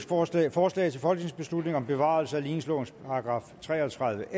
forslag forslag til folketingsbeslutning om bevarelse af ligningslovens § tre og tredive